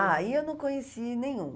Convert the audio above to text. Aí eu não conheci nenhum.